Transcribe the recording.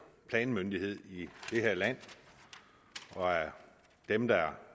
planmyndighed i det her land og er dem der